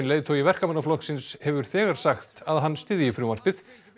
leiðtogi Verkamannaflokksins hefur þegar sagt að hann styðji frumvarpið